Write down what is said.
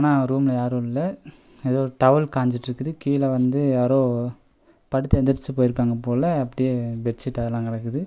ஆ ரூம்ல யாரு இல்ல ஏதோ டவல் காஞ்சுட்ருக்குது கீழ வந்து யாரோ படுத்து எந்துரிச்சு போய்ருகாங்க போல அப்டியே பெட்சிட் அதெல்லா கெடக்குது.